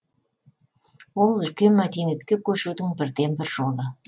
ол үлкен мәдениетке көшудің бірден бір жолы